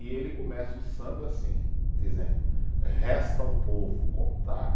E ele começa o samba assim, dizendo: resta ao povo contar